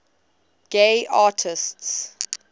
gay artists